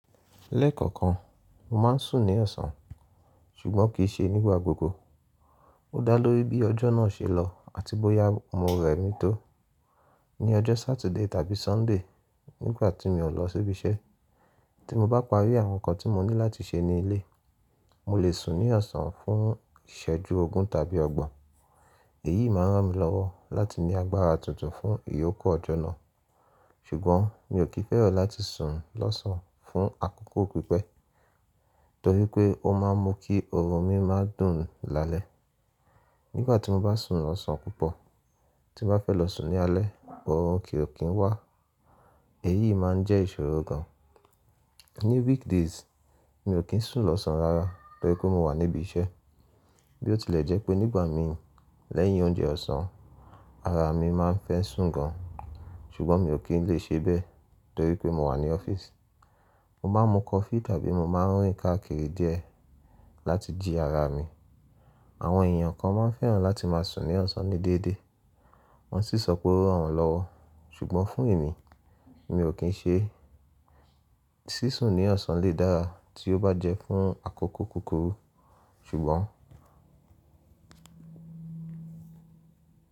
Lẹ́ẹ̀kọ̀kan, mo máa ń sùn ní ọ̀sán ṣùgbọ́n kì í ṣe nígbà gbogbo. Ó dá lórí bí ọjọ́ náà ṣe lọ àti bóyá mo rẹ̀ mí tó. Ni ọjọ́ Saturday tàbí Sunday, nígbà tí mi ò lọ síbi iṣẹ́, tí mo bá parí àwọn nǹkan tí mo ní láti ṣe ní ilé, mo lè sùn ní ọ̀sán fún ìṣẹ́jú ogún tàbí ọgbọ̀n. Èyí máa n ràn mí lọ́wọ́ láti ní agbára tuntun fún ìyókù ọjọ́ náà. Ṣùgbọ́n mi ò kí n fẹ́ràn láti sùn lọ́sàn-án fún àkókò pípẹ́ torí pé ó máa ń mú kí ọrùn mi máa dùn lálẹ́. Nígbà tí mo bá sùn lọ́sàn-án púpọ̀, tí mo bá fẹ́ lọ sùn ní alẹ́, ọrùn kì o kí ń wá. Èyí máa ń jẹ́ ìṣòro gan-an. Ní weekdays, mi ò kí ń sùn lọ́sán rara torí pé mo wà níbi iṣẹ́. Bí ó tilẹ̀ jẹ́ pé nígbà mi lẹ́yìn oúnjẹ ọ̀sán, ara mi máa ń fẹ́ sùn gan-an ṣùgbọ́n mi ò kí ń lè ṣe bẹ́ẹ̀ torí pé mo wà ní ọ́fíìsì. Mo máa ń mu coffee tàbí mo máa ń rin kakiri díẹ̀ láti jí ara mi. Àwọn èèyàn kan máa ń fẹ́ràn láti máa sùn ní ọ̀sán ní déédéé, wọ́n sì sọ pé ó ràn wọ́n lọ́wọ́ ṣùgbọ́n fún èmi, mi ò kí ń ṣe. Sísùn ní ọ̀sán lè dára tí ó bá jẹ́ fún àkókò kúkúrú ṣùgbọ́n.